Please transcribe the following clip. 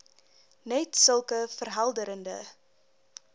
net sulke verhelderende